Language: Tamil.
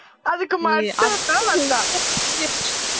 அதுக்கு மட்டும் தான் வந்தான்